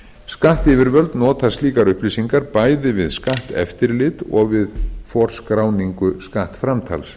skattyfirvöld nota slíkar upplýsingar bæði við skatteftirlit og við forskráningu skattframtals